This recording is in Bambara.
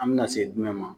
An bɛna se jumɛn ma